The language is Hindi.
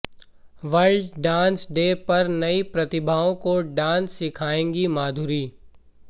वर्ल्ड डांस डे पर नई प्रतिभाओं को डांस सिखाएंगी माधुरी